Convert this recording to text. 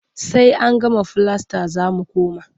Sai an gama filasta za mu koma.